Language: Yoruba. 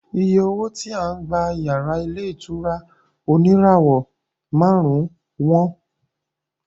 Iye owó tí à ń gba iyàrá ní ilé ìtura oníràwọ̀ márùn-ún wọ́n